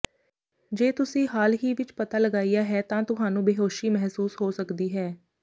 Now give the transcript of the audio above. ਜੇ ਤੁਸੀਂ ਹਾਲ ਹੀ ਵਿਚ ਪਤਾ ਲਗਾਇਆ ਹੈ ਤਾਂ ਤੁਹਾਨੂੰ ਬੇਹੋਸ਼ੀ ਮਹਿਸੂਸ ਹੋ ਸਕਦੀ ਹੈ